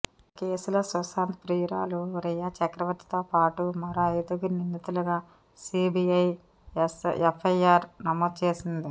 ఈ కేసులో సుశాంత్ ప్రియురాలు రియా చక్రవర్తితో పాటు మరో ఐదుగురిని నిందుతులుగా సీబీఐ ఎఫ్ఐఆర్ నమోదు చేసింది